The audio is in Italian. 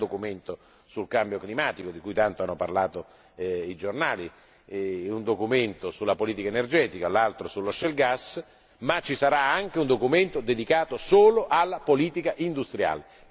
Ci sarà il documento sul cambiamento climatico, di cui tanto hanno parlato i giornali, un documento sulla politica energetica, un altro sullo shale gas ma ci sarà anche un documento dedicato solo alla politica industriale.